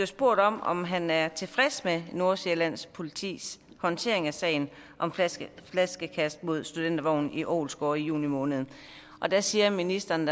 spurgt om om han er tilfreds med nordsjællands politis håndtering af sagen om flaskekast flaskekast mod studentervogn i ålsgårde i juni måned der siger ministeren